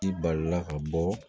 I balila ka bɔ